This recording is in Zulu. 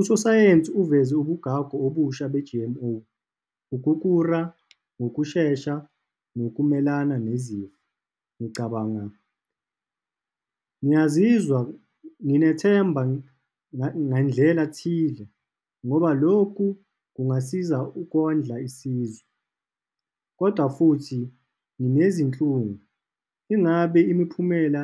Usosayensi uveze ubugagu obusha be-G_M_O, ukukhura ngokushesha nokuvumelana nezimo, ngicabangayo. Ngiyazizwa, nginethemba ngendlela thile, ngoba lokhu kungasiza ukondla isizwe, kodwa futhi nginezinhlungu. Ingabe imiphumela